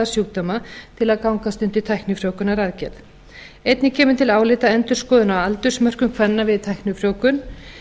sjúkdóma til að gangast undir tæknifrjóvgunaraðgerð einnig kemur til álita endurskoðun á aldursmörkum kvenna við tæknifrjóvgun